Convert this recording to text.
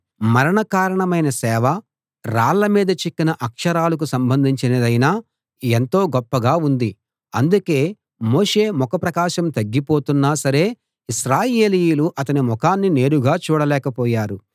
మరణ కారణమైన సేవ రాళ్ల మీద చెక్కిన అక్షరాలకు సంబంధించినదైనా ఎంతో గొప్పగా ఉంది అందుకే మోషే ముఖ ప్రకాశం తగ్గిపోతున్నా సరే ఇశ్రాయేలీయులు అతని ముఖాన్ని నేరుగా చూడలేక పోయారు